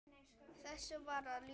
Þessu varð að ljúka.